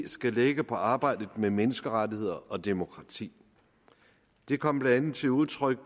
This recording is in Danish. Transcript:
skal lægge på arbejdet med menneskerettigheder og demokrati det kom blandt andet til udtryk